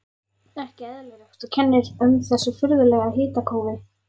Ekki eðlilegt, og kennir um þessu furðulega hitakófi.